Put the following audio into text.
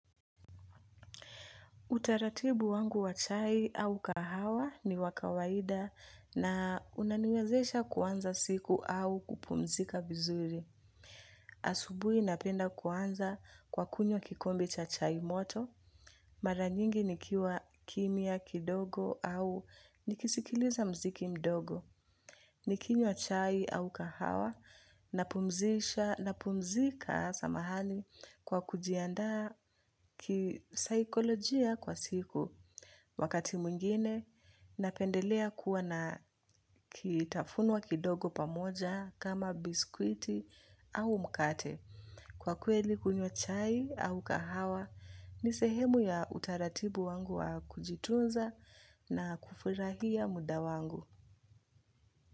Utaratibu wangu wa chai au kahawa ni wakawaida na unaniwezesha kuanza siku au kupumzika vizuri. Asubui napenda kuanza kwa kunywa kikombe cha chai moto. Maranyingi nikiwa kimya kidogo au nikisikiliza mziki mdogo. Nikinywa chai au kahawa na pumzika samahani kwa kujiandaa kisaikolojia kwa siku. Wakati mwingine, napendelea kuwa na kitafunwa kidogo pamoja kama biskwiti au mkate. Kwa kweli kunywa chai au kahawa, nisehemu ya utaratibu wangu wa kujitunza na kufurahia muda wangu.